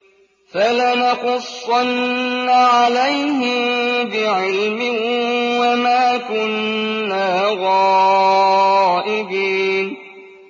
فَلَنَقُصَّنَّ عَلَيْهِم بِعِلْمٍ ۖ وَمَا كُنَّا غَائِبِينَ